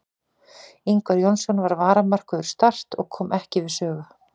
Ingvar Jónsson var varamarkvörður Start og kom ekki við sögu.